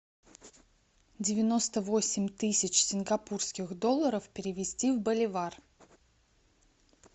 девяносто восемь тысяч сингапурских долларов перевести в боливар